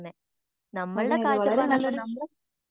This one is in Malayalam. അതെയതെ വളരെനല്ലൊരു